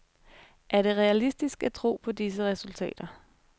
Er det realistisk at tro på disse resultater?